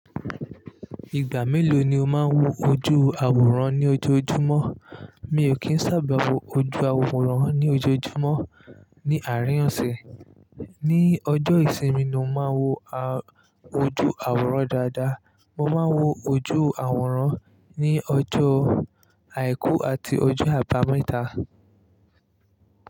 Ìgbà mélòó ni o máa ń wo ojú àwòrán ní ojoojúmọ́? Mi ò kí ń sábà wo ojú àwòrán ní ojoojúmọ́ ní àarín oṣẹ. Ní ọjọ́ ìsinmi ni mo máa ń wo a-ojú àwòrán dáadáa. Mo máa ń wo ojú àwòrán ní ọjọ́ àìkú àti ọjọ́ àbámẹ́ta.